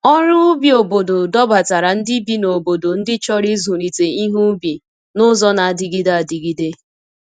Ọrụ ubi obodo dọbatara ndị bi n’obodo ndị chọrọ ịzụlite ihe ubi n’ụzọ na-adịgide adịgide.